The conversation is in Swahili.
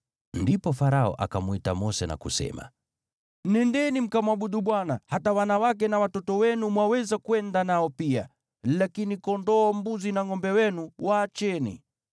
Ndipo Farao akamwita Mose na kusema, “Nendeni, mkamwabudu Bwana . Hata wanawake na watoto wenu mwaweza kwenda nao pia, lakini kondoo, mbuzi na ngʼombe wenu waacheni.”